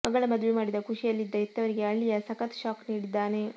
ಮಗಳ ಮದುವೆ ಮಾಡಿದ ಖುಷಿಯಲ್ಲಿದ್ದ ಹೆತ್ತವರಿಗೆ ಅಳಿಯ ಸಖತ್ ಶಾಕ್ ನೀಡಿದ್ದಾನೆ